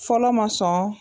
Fɔlɔ ma sɔn.